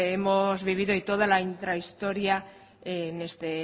hemos vivido y toda la intrahistoria en este